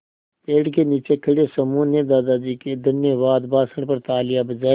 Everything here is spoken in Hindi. पेड़ के नीचे खड़े समूह ने दादाजी के धन्यवाद भाषण पर तालियाँ बजाईं